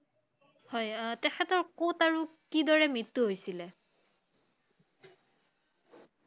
হয় অ তেখেতৰ কʼত আৰু কিদৰে মৃত্যু হৈছিলে?